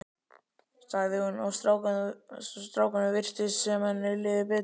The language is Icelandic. sagði hún og strákunum virtist sem henni liði betur.